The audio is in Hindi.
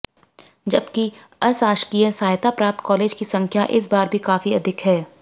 जबकि अशासकीय सहायता प्राप्त कालेज की संख्या इस बार भी काफी अधिक है